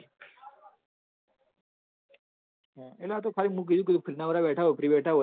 એતો ખાલી મેં કીધું તું free મો બધા બેઢા હોય free બેઢા હોય